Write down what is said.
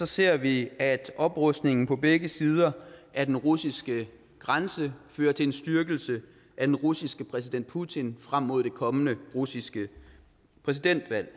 ser vi at oprustningen på begge sider af den russiske grænse fører til en styrkelse af den russiske præsident putin frem mod det kommende russiske præsidentvalg